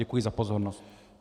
Děkuji za pozornost.